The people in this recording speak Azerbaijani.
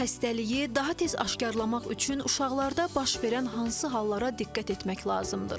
Xəstəliyi daha tez aşkarlaq üçün uşaqlarda baş verən hansı hallara diqqət etmək lazımdır?